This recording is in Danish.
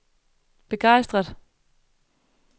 begejstret